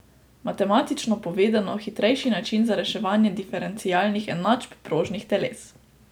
Matematično povedano, hitrejši način za reševanje diferencialnih enačb prožnih teles.